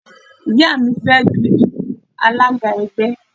Ìyá mi fẹ́ dun ipò alága ẹgbẹ́.